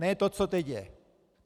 Ne to, co teď je.